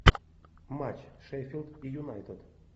матч шеффилд и юнайтед